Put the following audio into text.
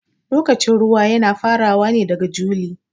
Lokacin ruwa Yana farawa ne daga juli.